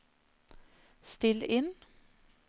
still inn